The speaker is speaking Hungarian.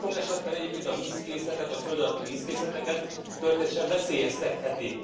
Namost ez sok esetben egyébként a vízkészletet, a földalatti vízkészleteket történetesen veszélyeztetheti.